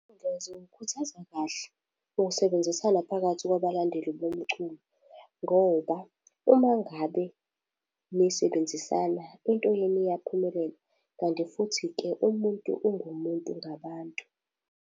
Iy'nkundla ziwukhuthaza kahle ukusebenzisana phakathi kwabalandeli bomculo, ngoba uma ngabe nisebenzisana, into yenu iyaphumelela, kanti futhi-ke umuntu ungumuntu ngabantu.